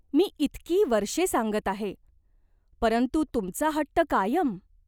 मी इतकी वर्षे सांगत आहे. परंतु तुमचा हट्ट कायम.